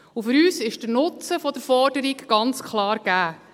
Und für uns ist der Nutzen der Forderung ganz klar gegeben.